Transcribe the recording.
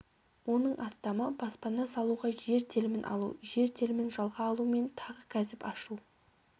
оның астамы баспана салуға жер телімін алу жер телімін жалға алу мен тағы кәсіп ашу